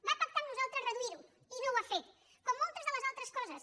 va pactar amb nosaltres reduir ho i no ho ha fet com moltes de les altres coses